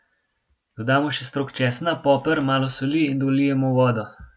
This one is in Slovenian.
Dodamo še strok česna, poper, malo soli in dolijemo vodo.